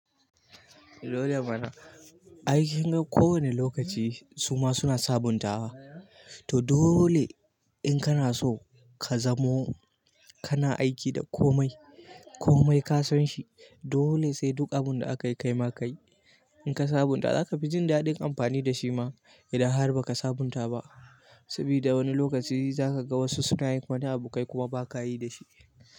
Aikin ga kowane lokaci suma suna sabuntawa, to dole in kana so ka zamo kana aiki da komai, komai ka san shi. Dole sai duk abunda akayi kaima kayi. In ka sabunta zaka fi jin daɗin amfani da shi ma idan har baka sabunta ba. Sabida wani lokaci zaka ga wasu suna yin wani abu kai kuma baka yi da shi.